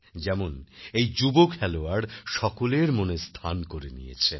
যেমন এই যুব খেলোয়াড় সকলের মনে স্থান করে নিয়েছেন